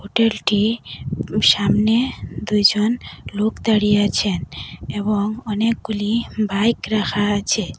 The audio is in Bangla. হোটেল টি সামনে দুইজন লোক দাঁড়িয়ে আছেন এবং অনেকগুলি বাইক রাখা আছে।